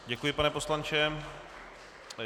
Děkuji, pane poslanče.